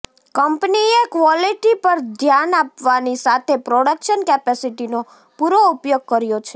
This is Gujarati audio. કંપનીએ ક્વોલિટી પર ધ્યાન આપવાની સાથે પ્રોડક્શન કેપિસિટીનો પુરો ઉપયોગ કર્યો છે